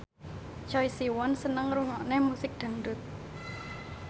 Choi Siwon seneng ngrungokne musik dangdut